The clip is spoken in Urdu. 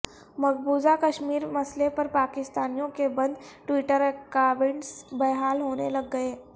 مقبوضہ کشمیر مسئلے پر پاکستانیوں کے بند ٹوئٹر اکائونٹس بحال ہونے لگ گئے